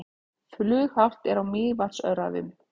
Flughált er á Mývatnsöræfum